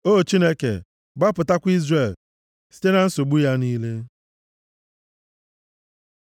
O Chineke, Gbapụtakwa Izrel, site na nsogbu ya niile.